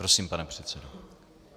Prosím, pane předsedo.